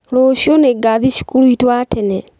Rũciũ nĩngathiĩ cukuru witũ wa tene